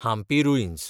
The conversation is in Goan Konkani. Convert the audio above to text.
हांपी रुइन्स